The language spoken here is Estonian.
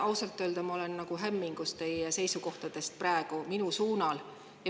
Ausalt öeldes ma olen praegu hämmingus teie seisukohtadest minu suunal.